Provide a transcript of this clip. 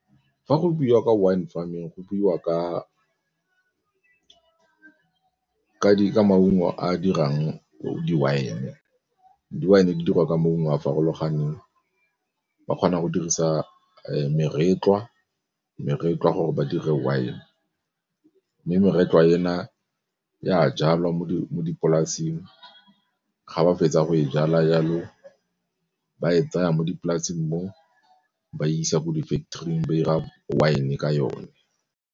Fa go buiwa ka wine farming, go buiwa ka maungo a a dirang di-wine, di-wine di dirwa ka maungo a a farologaneng ba kgona go dirisa meretlwa, meretlwa gore ba dire wine mme meretlwa ena e a jalwa mo dipolaseng ga ba fetsa go e jala jalo, ba e tsaya mo dipolaseng moo ba e isa ko di-factory-ing ba 'ira wine ka yone.